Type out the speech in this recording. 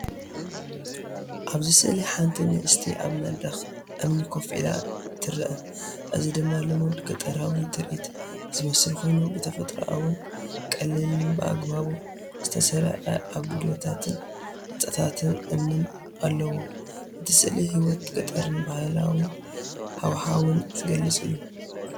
ኣብዚ ስእሊ ሓንቲ ንእስቲ ኣብ መድረኽ እምኒ ኮፍ ኢላ ትርአ። እዚ ድማ ልሙድ ገጠራዊ ትርኢት ዝመስል ኮይኑ፡ ብተፈጥሮኣውን ቀሊልን ብኣገባብ ዝተሰርዐ ኣጉዶታትን ህንጻታት እምንን ኣለዎ። እቲ ስእሊ ህይወት ገጠርን ባህላዊ ሃዋህውን ዝገልጽ እዩ።